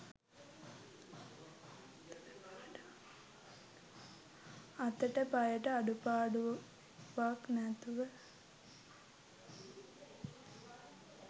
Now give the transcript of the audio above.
අතට පයට අඩුපාඩුවක් නැතුව